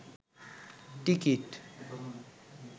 ticket